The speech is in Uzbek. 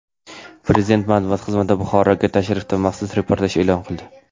Prezident matbuot xizmati Buxoroga tashrifdan maxsus reportaj e’lon qildi.